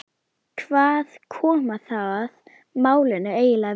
Hvað koma það málinu eiginlega við?